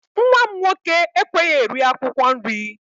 Nwa m nwoke ekweghị eri akwụkwọ nri